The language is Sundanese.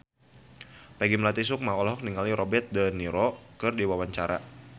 Peggy Melati Sukma olohok ningali Robert de Niro keur diwawancara